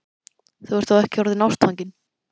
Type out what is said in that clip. Þú ert þó ekki orðinn ástfanginn?